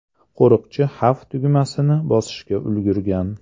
Qo‘riqchi xavf tugmasini bosishga ulgurgan.